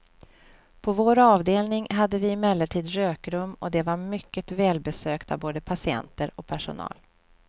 På vår avdelning hade vi emellertid rökrum och det var mycket välbesökt av både patienter och personal.